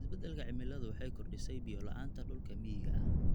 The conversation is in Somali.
Isbeddelka cimiladu waxay kordhisay biyo la'aanta dhulka miyiga ah.